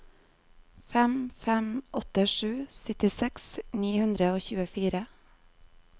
fem fem åtte sju syttiseks ni hundre og tjuefire